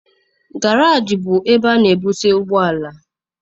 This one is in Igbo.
Garaajị bụ ebe ana ebuse ụgbọala.